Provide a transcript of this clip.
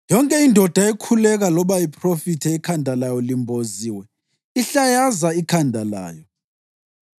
Yonke indoda ekhuleka loba iphrofithe ikhanda layo limboziwe ihlayaza ikhanda layo.